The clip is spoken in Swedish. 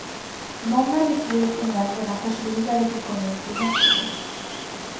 Många beslut i nämnderna förs vidare till kommunfullmäktige.